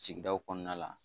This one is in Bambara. Sigidaw kɔnɔna la